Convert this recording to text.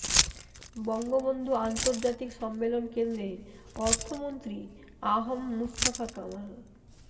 বঙ্গবন্ধু আন্তর্জাতিক সম্মেলন কেন্দ্রে অর্থমন্ত্রী আ হ ম মুস্তফা কামাল